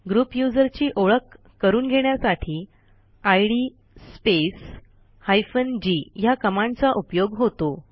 group युजरची ओळख करून घेण्यासाठी इद स्पेस हायफेन जी ह्या कमांडचा उपयोग होतो